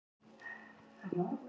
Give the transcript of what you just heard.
fimmtudagana